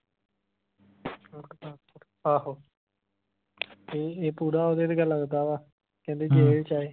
ਆਹੋ ਤੇ ਇਹ ਪੂਰਾ ਓਹਦੇ ਵਰਗਾ ਲਗਦਾ ਵਾ ਕਹਿੰਦੇ ਜੇਲ ਚ ਇਹ